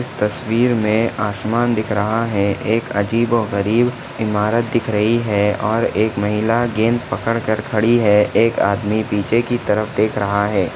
इस तस्वीर मे आसमान दिख रहा है एक अजीबोगरीब इमारत दिख रही है और एक महिला गेंद पकड़कर खड़ी है एक आदमी पीछे की तरफ देख रहा है।